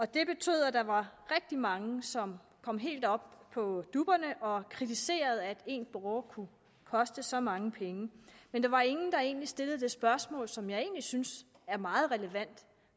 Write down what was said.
det betød at der var rigtig mange som kom helt op på dupperne og kritiserede at en borger kunne koste så mange penge men der var ingen der egentlig stillede det spørgsmål som jeg egentlig synes er meget relevant